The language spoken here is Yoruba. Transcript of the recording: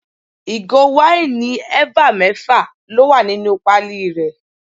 Ìgò wáìnì eva mẹ́fà ló wà nínú pali rẹ.